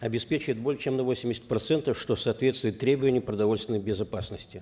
обеспечивает более чем на восемьдесят процентов что соответствует требованиям продовольственной безопасности